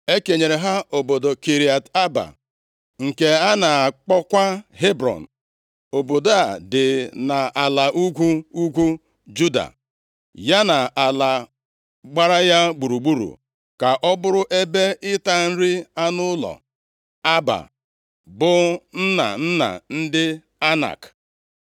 E kenyere ha obodo Kiriat Aaba, nke a na-akpọkwa Hebrọn. Obodo a dị nʼala ugwu ugwu Juda, ya na ala gbara ya gburugburu ka ọ bụrụ ebe ịta nri anụ ụlọ. (Aaba bụ nna nna ndị Anak.)